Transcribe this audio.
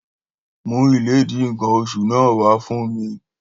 Mú Iledi nkan oṣù náà wà fún mi